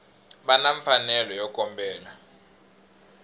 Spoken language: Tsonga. va na mfanelo yo kombela